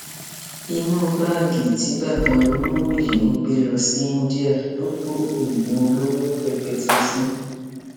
inú báàgì tí bàbá olówó yìí ń gbé lọ sí inidia ló kó oògùn olóró rẹpẹtẹ sí